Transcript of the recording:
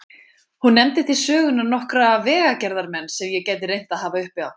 Hún nefndi til sögunnar nokkra vegagerðarmenn sem ég gæti reynt að hafa uppi á.